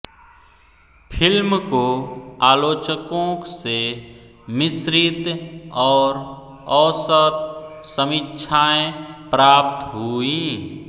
film को आलोचकों से मिश्रित और औसत समीक्षाएँ प्राप्त हुईं